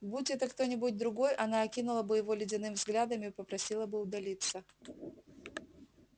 будь это кто-нибудь другой она окинула бы его ледяным взглядом и попросила бы удалиться